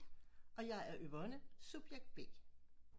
Og jeg er Yvonne subjekt B